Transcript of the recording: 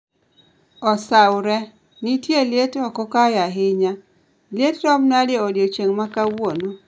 osawore, nitie liet oko kae ahinya liet rom nade odiechieng makawuono